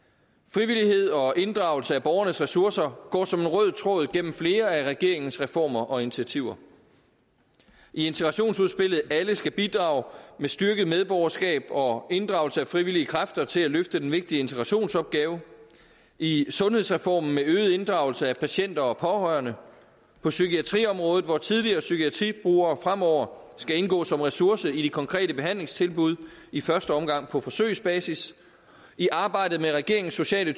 frivillighed og inddragelse af borgernes ressourcer går som en rød tråd gennem flere af regeringens reformer og initiativer i integrationsudspillet alle skal bidrage med styrket medborgerskab og inddragelse af frivillige kræfter til at løfte den vigtige integrationsopgave i sundhedsreformen med øget inddragelse af patienter og pårørende på psykiatriområdet hvor tidligere psykiatribrugere fremover skal indgå som en ressource i de konkrete behandlingstilbud i første omgang på forsøgsbasis i arbejdet med regeringens sociale